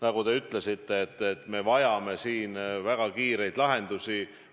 Nagu te ütlesite, me vajame siin väga kiireid lahendusi.